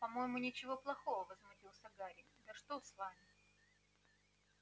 по-моему ничего плохого возмутился гарри да что с вами